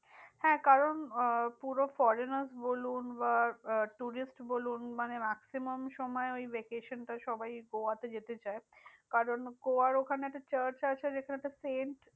হ্যাঁ কারণ আহ পুরো foreigner বলুন বা আহ tourist বলুন, মানে maximum সময় ওই vacation টা সবাই গোয়াতে যেতে চায়। কারণ গোয়ার ওখানেতে চার্চ আছে যেখানেতে সেন্ট